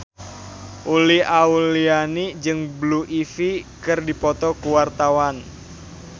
Uli Auliani jeung Blue Ivy keur dipoto ku wartawan